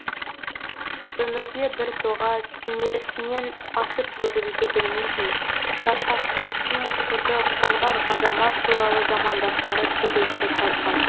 өмірде біртоға кенересінен асып төгілуді білмейтін парасаттылықтың құты қонған азамат туралы замандастары төгілдіріп жазған